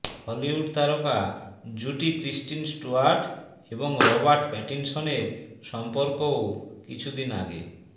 Hollywood তারকা জুটি Kristen Stewart এবং রবার্ট প্যাটিন্সনের সম্পর্কও কিছুদিন আগে